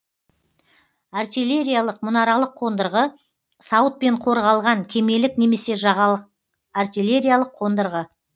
артиллериялық мұнаралық қондырғы сауытпен қорғалған кемелік немесе жағалық артиллериялық қондырғы